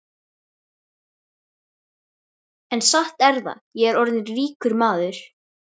En satt er það, ég er orðinn ríkur maður.